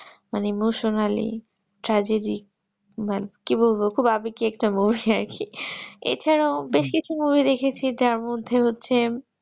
মানে emotionally trajedy মানে কি বলবো খুব আবেকি একটা movie আরকি এছাড়াও বেশ কিছু movie দেখেছি যার মধ্যে হচ্ছে